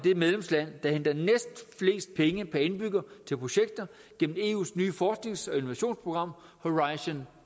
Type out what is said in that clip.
det medlemsland der henter næstflest penge per indbygger til projekter gennem eus nye forsknings og innovationsprogram horizon